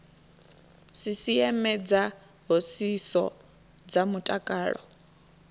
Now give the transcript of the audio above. sisieme dza hoisiso dza mutakalo